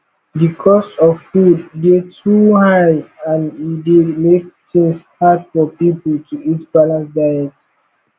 di cost of food dey too high and e dey make things hard for people to eat balanced diet